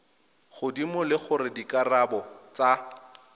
godimo le gore dikarabo tsa